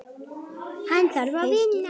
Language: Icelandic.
Hann þarf að vinna.